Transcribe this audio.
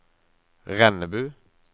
Rennebu